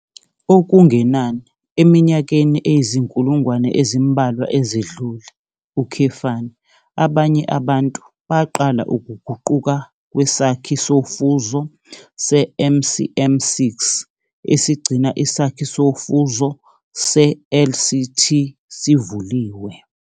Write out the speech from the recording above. Okungenani eminyakeni eyizinkulungwane ezimbalwa ezedlule, abanye abantu baqala ukuguquka kwesakhi sofuzo se-MCM6 esigcina isakhi sofuzo se-LCT sivuliwe